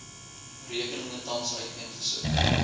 rekeninge tans uiteengesit